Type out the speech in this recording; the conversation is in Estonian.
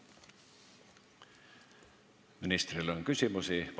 Ministrile on küsimusi.